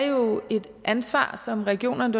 jo er et ansvar som regionerne